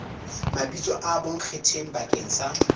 mabitso a bonkgetheng bakeng sa